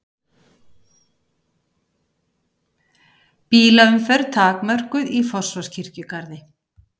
Bílaumferð takmörkuð í Fossvogskirkjugarði